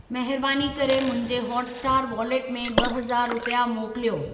महिरबानी करे मुंहिंजे हॉटस्टार वॉलेट में ॿ हज़ार रुपिया मोकिलियो।